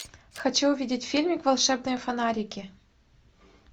хочу увидеть фильм волшебные фонарики